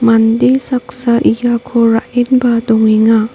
mande saksa iako ra·enba dongenga.